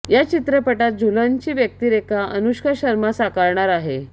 या चित्रपटात झूलनची व्यक्तिरेखा अनुष्का शर्मा साकारणार आहे